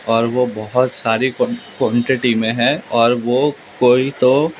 और वो बहुत सारी को क्वांटिटी में है और वो कोई तो--